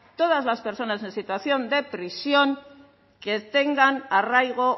todas las personas en situación de prisión que tengan arraigo